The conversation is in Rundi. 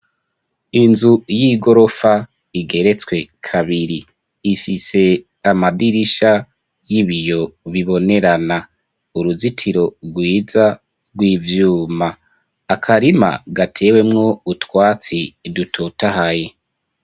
Inzu y'igorofa igeretswe kabiri. Ifise amadirisha y'ibiyo bibonerana. Uruzitiro rwiza rw'ivyuma. Akarima gatewemwo utwatsi dutotahaye.